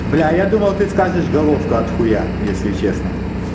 бля я думал ты скажешь головка от хуя если честно